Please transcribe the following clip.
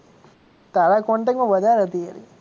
તારા contact માં વધારે હતી એ રહી.